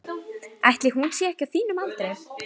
Ætli hún sé ekki á þínum aldri.